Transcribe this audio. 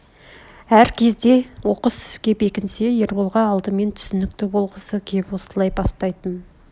әр кезде оқыс іске бекінсе ерболға алдымен түсінкті болғысы кеп осылай бастайтын